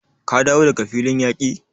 Ka dawo daga filin yaki?